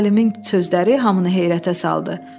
Alimin sözləri hamını heyrətə saldı.